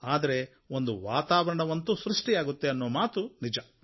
ಆದರೆ ಒಂದು ವಾತಾವರಣವಂತೂ ಸೃಷ್ಟಿಯಾಗುತ್ತೆ ಅನ್ನೋ ಮಾತು ನಿಜ